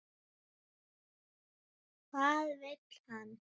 Maginn þolir ekki lengur bið.